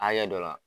Hakɛ dɔ la